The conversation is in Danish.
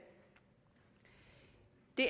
det